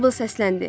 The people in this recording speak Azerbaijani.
Meybl səsləndi: